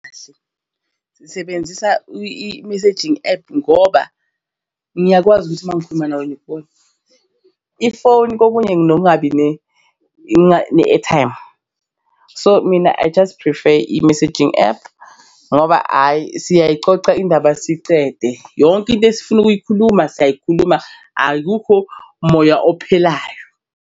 Kahle sisebenzisa i-messaging app ngoba ngiyakwazi ukuthi mangikhuluma nawe ngikubone, ifoni kokunye nginokungabi ne-airtime. So mina, I just prefer i-messaging app ngoba ayi siyayxoxa indaba sicede yonke into esifuna ukuyikhuluma siyayikhuluma. Akukho moya ophelayo.